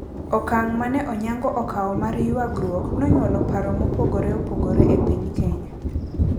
Okang` mane Onyango okawo mar yangruok nonyuolo paro mopogore opogore e piny Kenya.